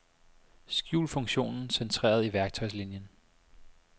Skjul funktionen centreret i værktøjslinien.